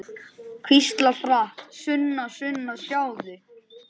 Hvíslar hratt: Sunna, Sunna, sjáðu!